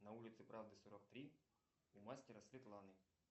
на улице правды сорок три у мастера светланы